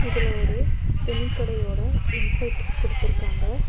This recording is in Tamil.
இதுல ஒரு துணிகடையோட இன்சைட் குடுத்துருக்காங்க.